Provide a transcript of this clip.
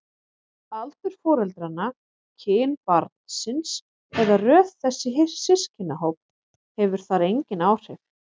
Aldur foreldranna, kyn barnsins eða röð þess í systkinahóp hefur þar engin áhrif.